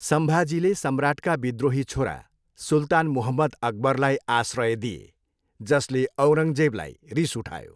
सम्भाजीले सम्राटका विद्रोही छोरा सुल्तान मुहम्मद अकबरलाई आश्रय दिए, जसले औरङ्गजेबलाई रिस उठायो।